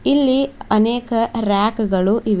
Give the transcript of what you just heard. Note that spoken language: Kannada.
ಇಲ್ಲಿ ಅನೇಕ ರ್ಯಾಕ್ ಗಳು ಇವೆ.